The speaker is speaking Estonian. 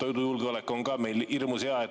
Toidujulgeolek on meil hirmus.